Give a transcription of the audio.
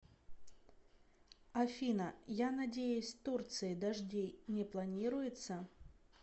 афина я надеюсь турции дождей не планируется